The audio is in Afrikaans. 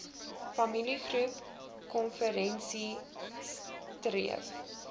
familiegroep konferensie streef